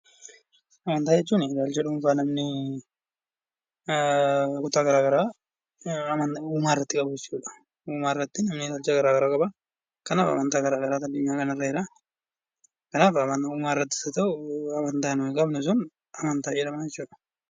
Amantaa jechuun wanta namni kutaa garaagaraa uumaa irratti qabu jechuudha. Kanaaf amantaa garaagaraa qaba jechuudha.